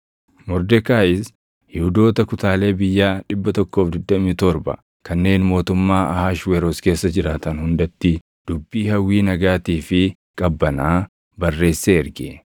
Mordekaayis Yihuudoota kutaalee biyyaa 127 kanneen mootummaa Ahashweroos keessa jiraatan hundatti dubbii hawwii nagaatii fi qabbanaa barreessee erge.